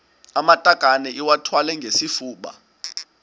amatakane iwathwale ngesifuba